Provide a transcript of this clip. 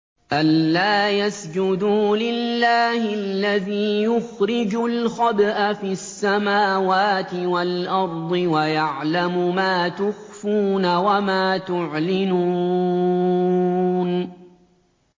أَلَّا يَسْجُدُوا لِلَّهِ الَّذِي يُخْرِجُ الْخَبْءَ فِي السَّمَاوَاتِ وَالْأَرْضِ وَيَعْلَمُ مَا تُخْفُونَ وَمَا تُعْلِنُونَ